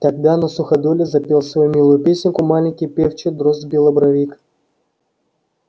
тогда на суходоле запел свою милую песенку маленький певчий дрозд белобровик